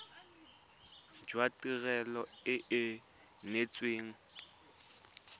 jwa tirelo e e neetsweng